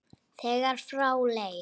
þegar frá leið.